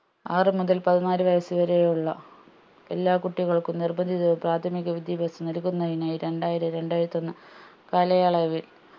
ആറ് മുതൽ പതിനാല് വയസ്സ് വരെ ഉള്ള എല്ലാ കുട്ടികൾക്കും നിർബന്ധിതവും പ്രാഥമിക വിദ്യാഭ്യാസം നൽകുന്നതിനായി രണ്ടായിരം രണ്ടായിരത്തൊന്നു കാലയളവിൽ